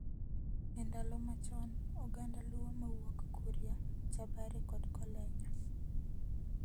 E ndalo machon, oganda Luo mawuok Kuria, Chabera kod Kolenyo,